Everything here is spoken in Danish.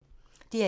DR1